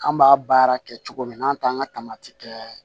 An b'a baara kɛ cogo min na n'an t'an ka taamati kɛ